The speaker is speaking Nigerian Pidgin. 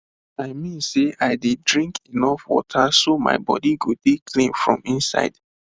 i mean sey i dey drink enough water so my body go dey clean from inside